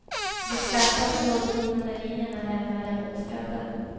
De skarpa, trådliknande linjerna lämnar dem oskadda.